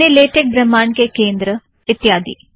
अपने लेटेक ब्रह्मांड़ के केंद्र इत्यादि